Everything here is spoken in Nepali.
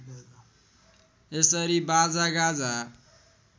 यसरी बाजा गाजा